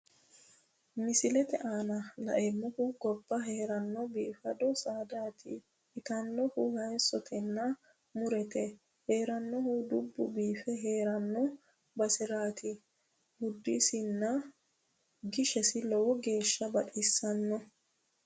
Misilete aana la'neemmohu gobba heeranno biifado saadaati itannohu haayiissotenna mu'rote heerannohuno dubbu biife heeranno baseraati buudisinna gishesi lowo geeshsha baxisanno.